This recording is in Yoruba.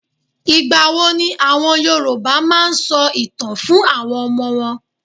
Ìgbà wo ni àwọn Yorùbá máa n sọ ìtàn fún àwọn Ọmọ wọn?